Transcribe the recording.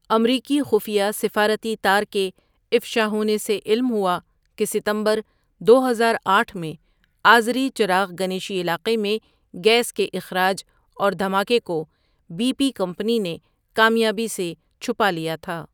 امریکی خفیہ سفارتی تار کے افشا ہونے سے علم ہوا کہ ستمبردو ہزار آٹھ میں آذری چراغ گنیشی علاقے میں گیس کے اخراج اور دھماکے کو بی پی کمپنی نے کامیابی سے چھپا لیا تھا.